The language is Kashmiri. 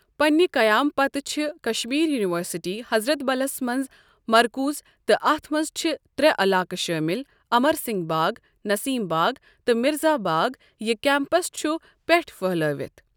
پنٛنہٕ قیام پتہٕ چھ کشمیٖر یونِوَرسِٹی، ، حضرت بَلس منٛز مرکوٗز تہٕ اتھ مَنٛز چھِ ترٛے علاقہٕ شٲمل امر سنگھ باغ، نسیم باغ تہٕ مرزا باغ یہِ کیمپس چھ پؠٹھ پھٔہلٲوتھ۔